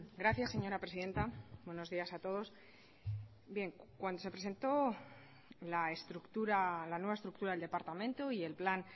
gracias señora presidenta buenos días a todos bien cuando se presentó la estructura la nueva estructura del departamento y el plan